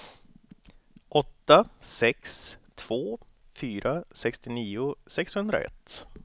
åtta sex två fyra sextionio sexhundraett